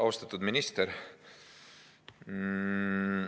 Austatud minister!